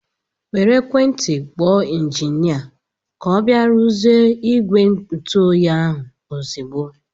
Were ekwentị kpọọ injinia ka ọ bịa ruzie ìgwè ntụ oyi ahụ ozigbo!!!!